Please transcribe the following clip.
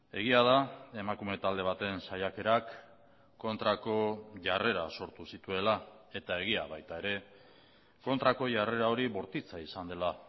egia da emakume talde baten saiakerak kontrako jarrera sortu zituela eta egia baita ere kontrako jarrera hori bortitza izan dela